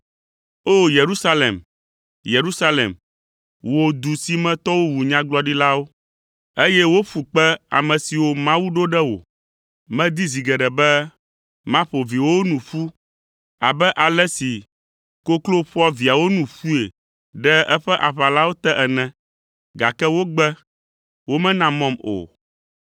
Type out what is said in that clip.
“O! Yerusalem, Yerusalem, wò du si me tɔwo wu nyagblɔɖilawo, eye woƒu kpe ame siwo Mawu ɖo ɖe wò. Medi zi geɖe be maƒo viwòwo nu ƒu abe ale si koklo ƒoa viawo nu ƒui ɖe eƒe aʋalawo te ene, gake wogbe, womena mɔm o.